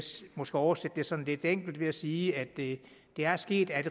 måske oversætte det sådan lidt enkelt ved at sige at det er sket at